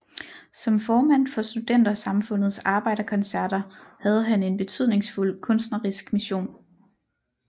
Som formand for Studentersamfundets arbejderkoncerter havde han en betydningsfuld kunstnerisk mission